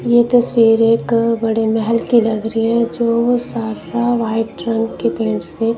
यह तस्वीर का बड़े महल की लग रही है जो सारा का व्हाइट रंग के पेंट --